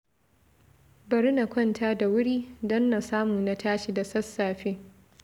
Bari na kwanta da wuri, don na samu na tashi da sassafe